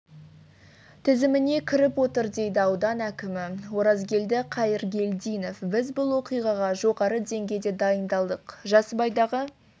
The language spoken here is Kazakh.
тізіміне кіріп отыр дейді аудан әкімі оразгелді қайыргелдинов біз бұл оқиғаға жоғары деңгейде дайындалдық жасыбайдағы